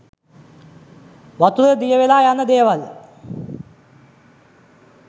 වතුරේ දිය වෙලා යන දේවල්